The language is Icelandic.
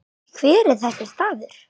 Hver er þessi staður?